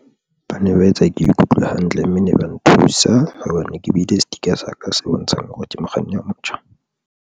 Ba ne ba etsa ke ikutlwe hantle mme ne ba nthusa hobane ke beile sticker sa ka se bontshang hore ke mokganni a motjha.